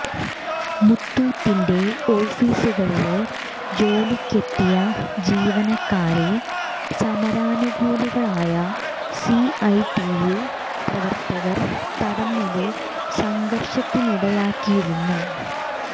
മുത്തൂറ്റിന്റെ ഓഫീസുകളില് ജോലിക്കെത്തിയ ജീവനക്കാരെ സമരാനുകൂലികളായ സിഐടിയു പ്രവര്ത്തകര് തടഞ്ഞത് സംഘര്ഷത്തിനിടയാക്കിയിരുന്നു